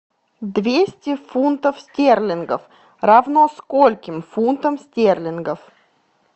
двести фунтов стерлингов равно скольким фунтов стерлингов